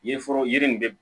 Ye fɔlɔ yiri in bɛ